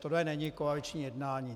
Tohle není koaliční jednání.